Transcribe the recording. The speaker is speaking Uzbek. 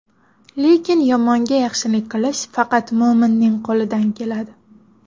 Lekin yomonga yaxshilik qilish faqat mo‘minning qo‘lidan keladi.